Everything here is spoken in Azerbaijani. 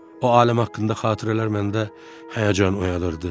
O aləm haqqında xatirələr məndə həyəcan oyadırdı.